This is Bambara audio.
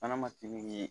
Fana ma seli ye